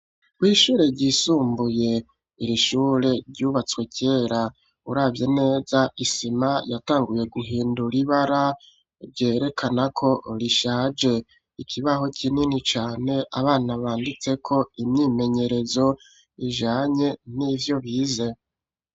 Kwishure ryisumbuye irishure ryubatswe kera uravye neza isima yatanguye guhindura ibara ryerekana ko rishaje, ikibaho kinini cane abana banditseko imyimenyerezo ijanye n'ivyo bize.